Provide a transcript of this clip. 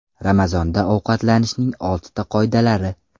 Ramazonda ovqatlanishning oltin qoidalari.